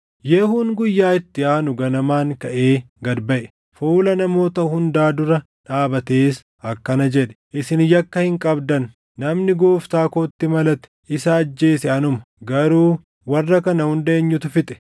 Yehuun guyyaa itti aanu ganamaan kaʼee gad baʼe. Fuula namoota hundaa dura dhaabatees akkana jedhe; “Isin yakka hin qabdan. Namni gooftaa kootti malatee isa ajjeese anuma; garuu warra kana hunda eenyutu fixe?